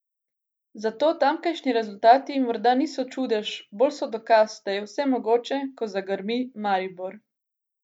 Zato tamkajšnji rezultati morda niti niso čudež, bolj so dokaz, da je vse mogoče, ko zagrmi Maribor.